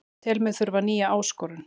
Tel mig þurfa nýja áskorun